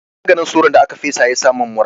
Maganin sauron da aka fesa ya sa mun mura.